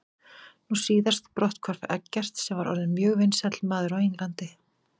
Nú síðast brotthvarf Eggerts sem var orðinn mjög vinsæll maður á Englandi.